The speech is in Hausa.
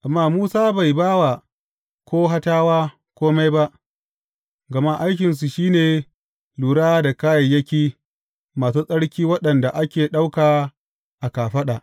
Amma Musa bai ba wa Kohatawa kome ba, gama aikinsu shi ne lura da kayayyaki masu tsarki waɗanda ake ɗauka a kafaɗa.